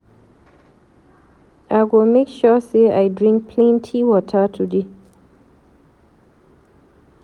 I go make sure sey I drink plenty water today.